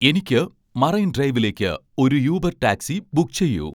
എനിക്ക് മറൈൻ ഡ്രൈവിലേക്ക് ഒരു യൂബർ ടാക്സി ബുക്ക് ചെയ്യൂ